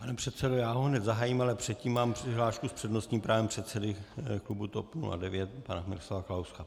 Pane předsedo, já ho hned zahájím, ale předtím mám přihlášku s přednostním právem předsedy klubu TOP 09 pana Miroslava Kalouska.